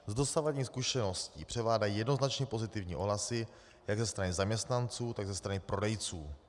Z dosavadních zkušeností převládají jednoznačně pozitivní ohlasy jak ze strany zaměstnanců, tak ze strany prodejců.